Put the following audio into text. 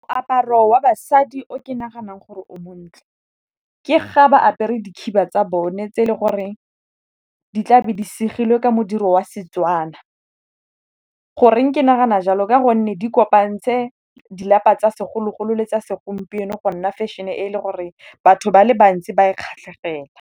Moaparo wa basadi o ke naganang gore o montle ke ga ba apere dikhiba tsa bone tse e le gore di tla be di segilwe ka modiro wa Setswana. Go reng ke nagana jalo? Ka gonne di kopantse di lapa tsa segologolo le tsa segompieno go nna fešhene e le goreng batho ba le bantsi ba e kgatlhegela.